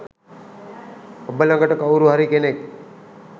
ඔබ ළඟට කවුරු හරි කෙනෙක්